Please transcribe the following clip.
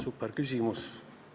Superküsimus!